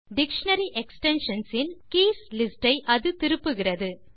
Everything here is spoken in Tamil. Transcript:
டிக்ஷனரி எக்ஸ்டென்ஷன்ஸ் இல் கீஸ் லிஸ்ட் ஐ அது திருப்புகிறது